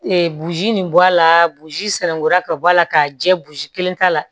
Ee buzi nin bɔ a la busi sɛnankuya ka bɔ a la k'a jɛ kelen t'a la